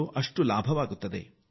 ಈ ಕಾರ್ಯಕ್ರಮ ಹಲವರಿಗೆ ಲಾಭದಾಯಕವಾಗಿದೆ